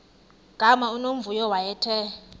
gama unomvuyo wayethe